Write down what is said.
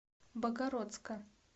богородска